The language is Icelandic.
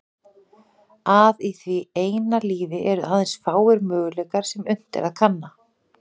Að í því eina lífi eru aðeins fáir möguleikar sem unnt er að kanna.